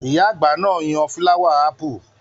Iya àgbà náà yan fulawa apu.